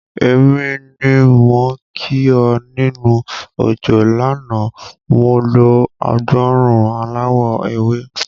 Èmi ni mò ń kí ọ nínú òjò lánàá, mo lo agbòòrùn aláwọ̀ ewé.